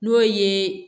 N'o ye